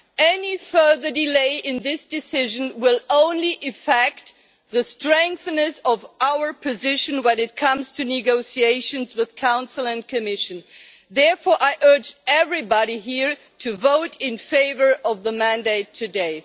Any further delay in this decision will only affect the strength of our position when it comes to negotiations with Council and Commission. Therefore, I urge everybody here to vote in favour of the mandate today.